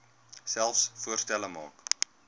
selfs voorstelle maak